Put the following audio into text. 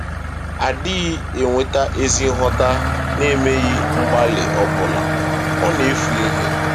A dịghị enweta ezi nghọta n’emeghị mgbalị ọbụla; ọ na-efu ihe.